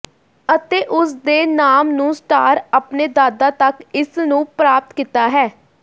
ਅਤੇ ਉਸ ਦੇ ਨਾਮ ਨੂੰ ਸਟਾਰ ਆਪਣੇ ਦਾਦਾ ਤੱਕ ਇਸ ਨੂੰ ਪ੍ਰਾਪਤ ਕੀਤਾ ਹੈ